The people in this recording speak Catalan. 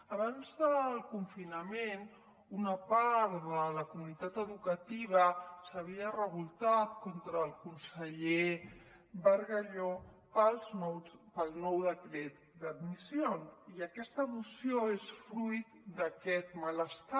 abans del confinament una part de la comunitat educativa s’havia revoltat contra el conseller bargalló pel nou decret d’admissió i aquesta moció és fruit d’aquest malestar